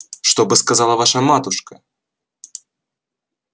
что бы сказала ваша матушка